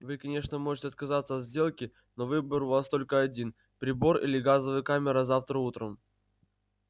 вы конечно можете отказаться от сделки но выбор у вас только один прибор или газовая камера завтра утром